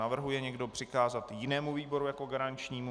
Navrhuje někdo přikázat jinému výboru jako garančnímu?